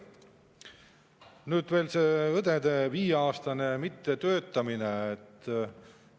Nüüd räägin veel sellest õdede viieaastasest mittetöötamisest.